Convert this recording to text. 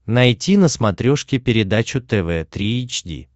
найти на смотрешке передачу тв три эйч ди